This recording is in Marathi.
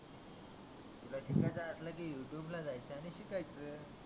तुला शिकायच असल की यूट्यूब ला जायच आणि शिकायच